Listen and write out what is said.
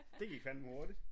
Det gik fandme hurtigt